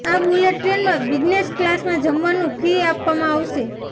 આ બુલેટ ટ્રેનમાં બિઝનેસ ક્લાસમાં જમવાનુ ફ્રી આપવામાં આવશે